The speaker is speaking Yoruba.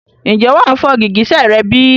Ǹjẹ́ wà fọ gìgísẹ̀ rẹ bí?